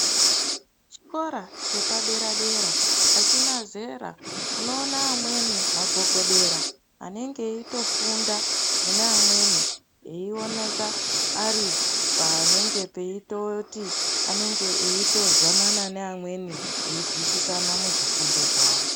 Chikora chepadera dera achina zera unoona kuti magogodera anenge eifunda neamweni eioneka panenge peitoti vanenge veizwanana nevamweni veizwisisa muzvifundo zvawo.